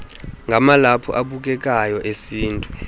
ngamalaphu abukekayo esintu